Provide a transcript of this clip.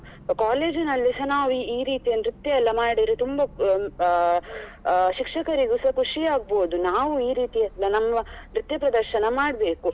College ನಲ್ಲಿ ಸ ನಾವು ಈ ರೀತಿಯ ನೃತ್ಯ ಎಲ್ಲ ಮಾಡಿ ತುಂಬಾ ಅಹ್ ಆ ಶಿಕ್ಷಕರಿಗೂ ಸ ಖುಷಿ ಆಗಬೋದು ನಾವು ಈ ರೀತಿಯ ನಮ್ಮ ನೃತ್ಯ ಪ್ರದರ್ಶನ ಮಾಡ್ಬೇಕು